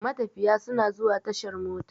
Matafiya suna zuwa tashar mota.